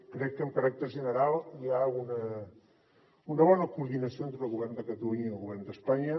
crec que amb caràcter general hi ha una bona coordinació entre el govern de catalunya i el govern d’espanya